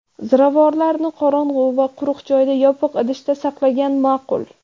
Ziravorlarni qorong‘i va quruq joyda yopiq idishda saqlagan ma’qul.